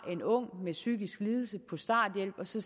en ung med psykisk lidelse på starthjælp så